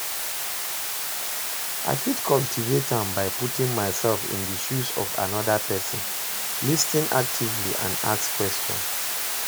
I fit cultivate am by putting myself in di shoes of anoda pesin, lis ten actively and ask question.